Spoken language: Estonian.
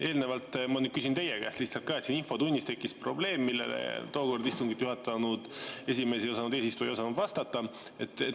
Eelnevalt – ma nüüd küsin teie käest ka – siin infotunnis tekkis probleem, millele tookord istungit juhatanud esimees ei osanud vastata.